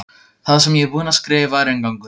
Það sem ég er búin að skrifa er inngangur.